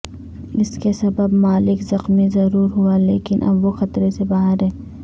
اس کے سبب مالک زخمی ضرور ہوا لیکن اب وہ خطرے سے باہر ہے